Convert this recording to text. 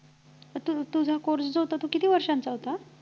तू तुझा course जो होता तो किती वर्षांचा होता